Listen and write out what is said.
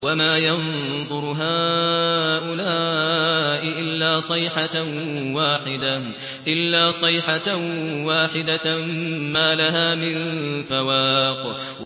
وَمَا يَنظُرُ هَٰؤُلَاءِ إِلَّا صَيْحَةً وَاحِدَةً مَّا لَهَا مِن فَوَاقٍ